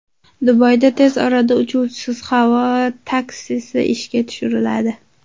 Dubayda tez orada uchuvchisiz havo taksisi ishga tushiriladi.